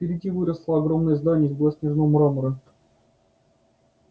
впереди выросло огромное здание из белоснежного мрамора